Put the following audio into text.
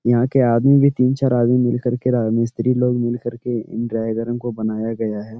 यहाँ के आदमी भी तीन चार आदमी मिल कर के रा मिस्त्री लोग मिल कर के इन ड्रायगरों को बनाया गया हैं।